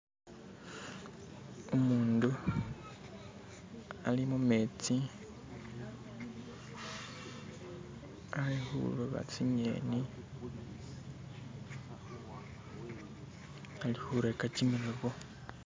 Umundu ali mumetsi alikhuloba tsing'eni, alikhureka kimiloobo.